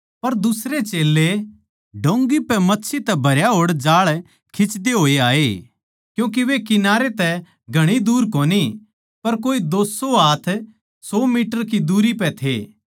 पर दुसरे चेल्लें डोंगी पै मच्छी तै भरया होड़ जाळ खिंचदे होए आए क्यूँके वे किनारे तै घणी दूर कोनी पर कोए दो सौ हाथ सौ मीटर की दूरी पै थे